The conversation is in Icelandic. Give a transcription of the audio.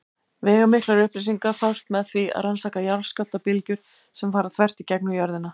Veigamiklar upplýsingar fást með því að rannsaka jarðskjálftabylgjur sem fara þvert í gegnum jörðina.